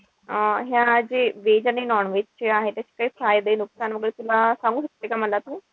अं ह्या जे veg आणि non-veg चे आहे त्याचे काही फायदे नुकसान वगैरे तुला सांगू शकते का मला तू?